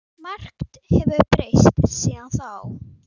Margt hefur breyst síðan þá.